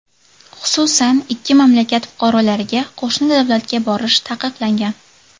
Xususan, ikki mamlakat fuqarolariga qo‘shni davlatga borish taqiqlangan.